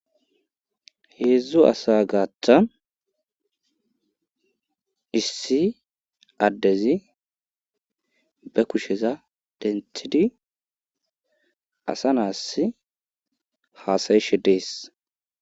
Heedzdzu asa gaaththa issi addezi be kusheza denthidi asa naas haasayishe dees.